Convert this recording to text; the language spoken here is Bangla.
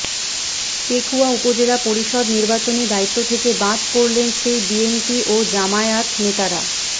পেকুয়া উপজেলা পরিষদ নির্বাচনী দায়িত্ব থেকে বাদ পড়লেন সেই বিএনপি ও জামায়াত নেতারা